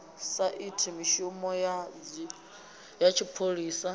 sa iti mishumo ya tshipholisa